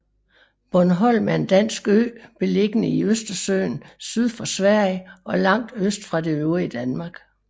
Bornholm er en dansk ø beliggende i Østersøen syd for Sverige og langt øst fra det øvrige Danmark